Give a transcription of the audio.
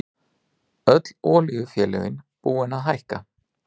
Öll olíufélögin búin að hækka